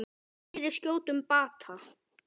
Fyrir skjótum bata.